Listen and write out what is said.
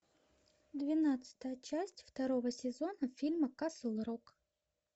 двенадцатая часть второго сезона фильма касл рок